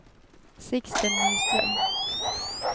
Sixten Nyström